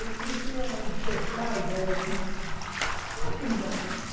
Eu comecei a despertar a ideia assim... Como é que eles aprendem?